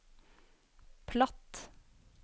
platt